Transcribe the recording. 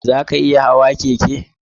Za ka iya hawa keke?